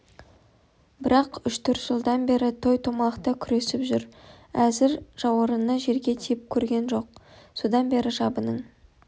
бірақ үш-төрт жылдан бері той-томалақта күресіп жүр әзір жауырыны жерге тиіп көрген жоқ содан бері жабының